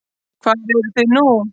Hvar eruð þið nú?